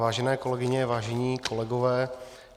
Vážené kolegyně, vážení kolegové.